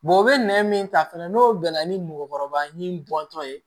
o bɛ nɛn min ta fɛnɛ n'o gɛlɛya ni mɔgɔkɔrɔba ni bɔntɔ ye